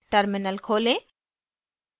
terminal खोलें